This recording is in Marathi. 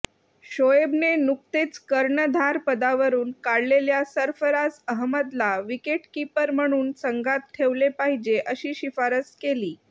शोएबने नुकतेच कर्णधारपदावरून काढलेल्या सरफराज अहमदला विकेटकीपर म्हणून संघात ठेवले पाहिजे अशी शिफारस केली